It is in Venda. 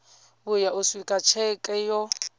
vhuya u swika tsheke yo